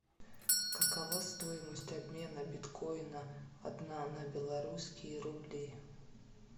какова стоимость обмена биткоина одна на белорусские рубли